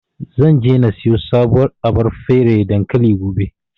Zan je na siyo sabuwar abar feraye dankali, gobe.